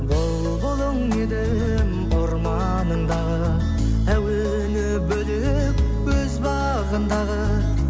бұлбұлың едім орманыңдағы әуені бөлек өз бағындағы